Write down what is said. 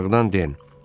Aşağıdan Den.